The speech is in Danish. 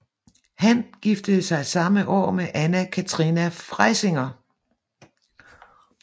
Han giftede sig samme år med Anna Katharina Freysinger